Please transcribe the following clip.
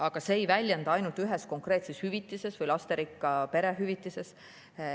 Aga see ei väljendu ainult ühes konkreetses hüvitises või lasterikka pere hüvitises.